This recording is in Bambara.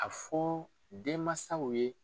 A fɔ denmansaw ye